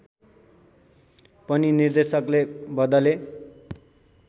पनि निर्देशकले बदले